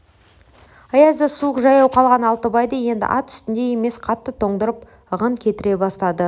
аязды суық жаяу қалған алтыбайды енді ат үстіндей емес қатты тоңдырып ығын кетіре бастады